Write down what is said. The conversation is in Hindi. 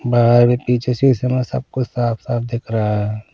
बाहर भी पीछे शीशे में सब कुछ साफ-साफ दिख रहा है।